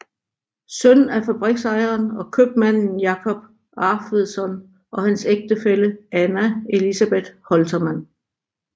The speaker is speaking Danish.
Søn af fabriksejeren og købmanden Jacob Arfvedson og hans ægtefælle Anna Elisabeth Holtermann